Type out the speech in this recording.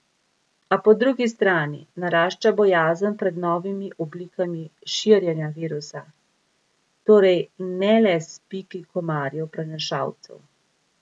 A po drugi strani narašča bojazen pred novimi oblikami širjenja virusa, torej ne le s piki komarjev prenašalcev.